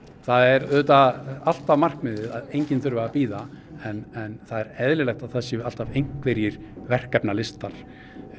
það er auðvitað alltaf markmiðið að enginn þurfi að bíða en það er eðlilegt að það séu alltaf einhverjir verkefnalistar